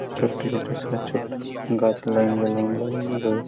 গাছ line by line লাগানো রয়েছে।